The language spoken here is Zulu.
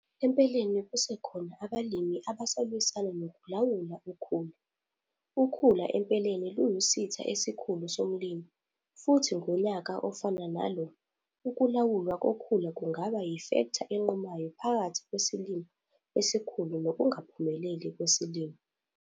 Empeleni kusekhona abalimi abasalwisana nokulawula ukhula. Ukhula empeleni luyisitha esikhulu somlimi, futhi ngonyaka ofana nalo, ukulawulwa kokhula kungaba yifektha enqumayo phakathi kwesilimo esikhulu nokungaphumeleli kwesilimo.